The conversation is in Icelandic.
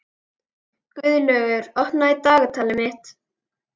Guðlaugur, opnaðu dagatalið mitt.